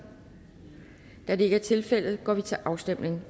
da det ikke er tilfældet går vi til afstemning